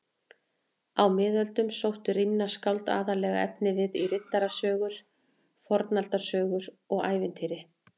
Á miðöldum sóttu rímnaskáld aðallega efnivið í riddarasögur, fornaldarsögur og ævintýri.